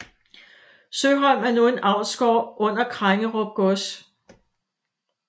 Søholm er nu en avlsgård under Krengerup Gods